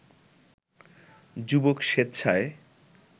যুবক স্বেচ্ছায়